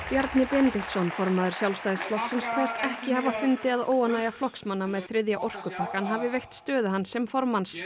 Bjarni Benediktsson formaður Sjálfstæðisflokksins kveðst ekki hafa fundið að óánægja flokksmanna með þriðja orkupakkann hafi veikt stöðu hans sem formaður